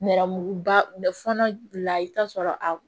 Nɛrɛmuguba fɔlɔ la i bi t'a sɔrɔ a